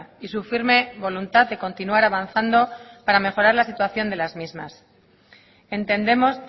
y su firme voluntad de continuar avanzando para mejorar la situación de las mismas entendemos